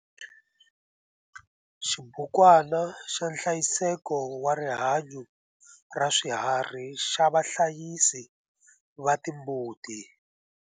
Xibukwana xa nhlayiseko wa rihanyo ra swiharhi xa vahlayisi va timbuti.